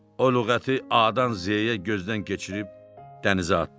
O lüğəti A-dan Z-yə gözdən keçirib dənizə atdı.